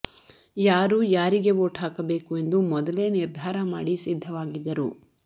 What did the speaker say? ಯಾರೂ ಯಾರಿಗೆ ವೋಟ್ ಹಾಕಬೇಕು ಎಂದು ಮೊದಲೇ ನಿರ್ಧಾರ ಮಾಡಿ ಸಿದ್ದವಾಗಿದ್ದರು